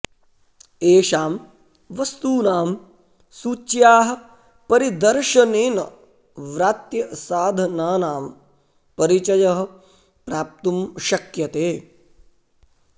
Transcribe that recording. एषां वस्तूनां सूच्याः परिदर्शनेन व्रात्यसाधनानां परिचयः प्राप्तुं शक्यते